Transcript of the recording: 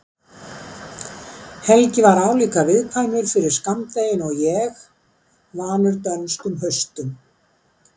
Helgi er álíka viðkvæmur fyrir skammdeginu og ég, vanur dönskum haustum.